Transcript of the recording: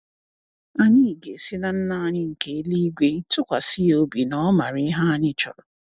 Anyị ga-esi na Nna anyị nke eluigwe tụkwasị ya obi na ọ maara ihe anyị chọrọ.